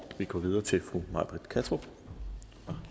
vi går videre til fru may britt kattrup fra